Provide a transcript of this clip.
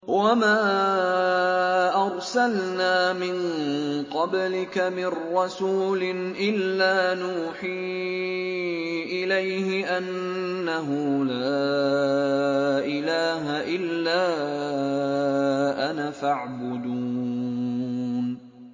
وَمَا أَرْسَلْنَا مِن قَبْلِكَ مِن رَّسُولٍ إِلَّا نُوحِي إِلَيْهِ أَنَّهُ لَا إِلَٰهَ إِلَّا أَنَا فَاعْبُدُونِ